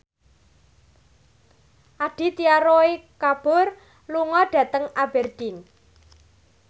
Aditya Roy Kapoor lunga dhateng Aberdeen